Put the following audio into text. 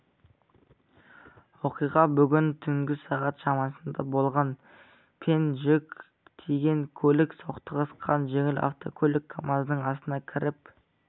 оқиға бүгін түнгі сағат шамасында болған пен жүк тиеген көлік соқтығысқан жеңіл автокөлік камаздың астына кіріп